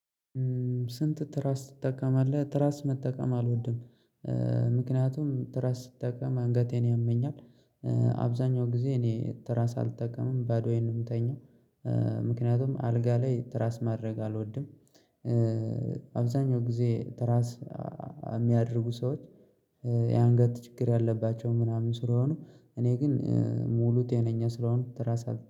ስንት? ትራስ ትጠቀማለህ ትራስ መጠቀም አልወድም ምክንያቱም ትራስ ስትጠቀም አንገቴን ያመኛል። አብዛኛው ጊዜ እኔ ትራስ አልጠቀምም ባዶዬን ነው የምተኛው። ምክንያቱም አልጋ ላይ ትራስ ማድረግ አልወድም። አብዛኛው ጊዜ ትራስ የሚያደርጉ ሰዎች የአንገት ችግር ያለባቸው ምናምን ስለሆኑ እኔ ግን ሙሉ ጤነኛ ስለሆንኩ ትራስ አልጠቀምም